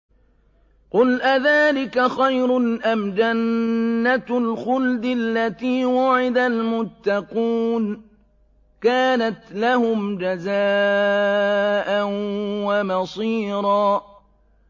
قُلْ أَذَٰلِكَ خَيْرٌ أَمْ جَنَّةُ الْخُلْدِ الَّتِي وُعِدَ الْمُتَّقُونَ ۚ كَانَتْ لَهُمْ جَزَاءً وَمَصِيرًا